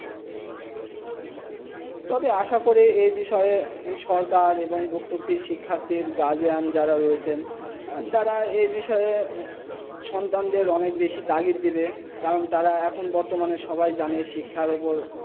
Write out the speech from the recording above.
আসা করি এই বিষয় সরকার এবং গোদপি শিক্ষা গার্জিয়ান যারা রয়েছে তারা এই বিষয়ে সন্তান দের অনেক তালিখ দেবেন কারণ এখন বর্তমানে সবাই জানে শিক্ষা উপপের